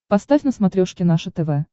поставь на смотрешке наше тв